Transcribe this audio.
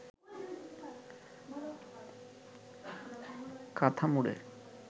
কাঁথা মুড়ে